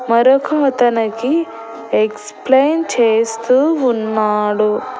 మరొక అతనికి ఎక్స్ప్లెయిన్ చేస్తూ ఉన్నాడు.